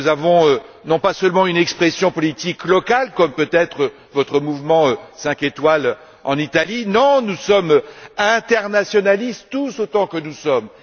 Nous n'avons pas seulement une expression politique locale, comme peut être votre Mouvement 5 étoiles en Italie, mais nous sommes internationalistes, tous autant que nous sommes.